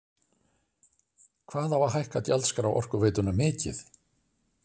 Hvað á að hækka gjaldskrá Orkuveitunnar mikið?